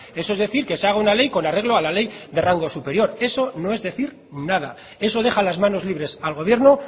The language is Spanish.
eso es decir que se haga una ley con arreglo a la ley de rango superior eso no es decir nada eso deja las manos libres al gobierno